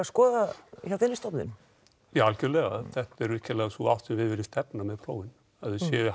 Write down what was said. skoða hjá þinni stofnun já algerlega þetta er virkilega sú átt sem við viljum stefna að með prófin að þau séu